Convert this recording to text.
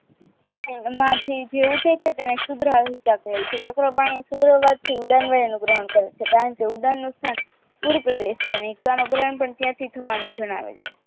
ઊઠે છે જેને શુદ્ધ વહીકા કહે છે સુર્ધવન ઉદરપાક થી વહન કરે છે કારણ કે ઉદ્ધારનું સ્થાન કુલ પ્રદેશ છે અને ઇકાનો પ્રદેશ થવાનું જણાવે છે